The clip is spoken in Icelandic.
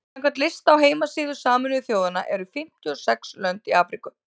samkvæmt lista á heimasíðu sameinuðu þjóðanna eru fimmtíu og sex lönd í afríku